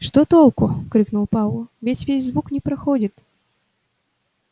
что толку крикнул пауэлл ведь звук здесь не проходит